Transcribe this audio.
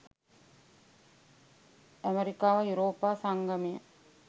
ඇමරිකාව යුරෝපා සංගමය